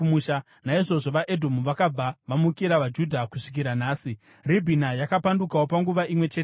Naizvozvo vaEdhomu vakabva vamukira vaJudha kusvikira nhasi. Ribhina yakapandukawo panguva imwe cheteyo.